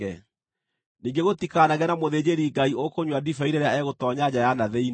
Ningĩ gũtikanagĩe na mũthĩnjĩri-Ngai ũkũnyua ndibei rĩrĩa egũtoonya nja ya na thĩinĩ.